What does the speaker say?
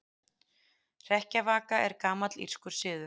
Hrekkjavaka er gamall írskur siður.